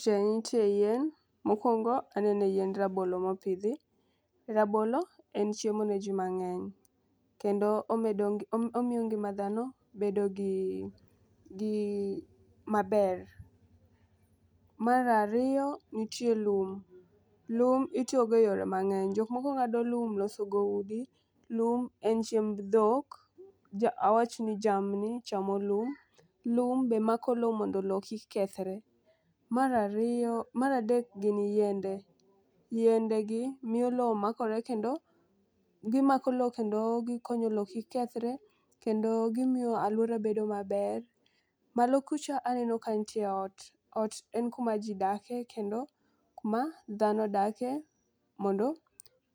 Chieng' ntie yien mokwongo anene yiend rabolo mopidhi rabolo en chiemo ne jii mang'eny kendo omedo ngi omiyo ngima bedo gi gi maber. Mar ariyo nitie lum, lum itiyo go e yore mang'eny. Jok moko ng'ado lum loso go udi, lum en chiemb dhok awach dhi jamni chamo lum, lum be mako lowo mondo lowo kik kethre. Mar ariyo mar adek gin yiende. Yiende gi miyo lowo makore kendo gimako lowo kendo gikonye lowo kik kethre kendo gimiyo aluora bedo maler. Malow kucho aneno ka ntie ot ot en kuma jii dake kendo en kuma dhano dake mondo